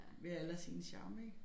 Hver alder sin charme ik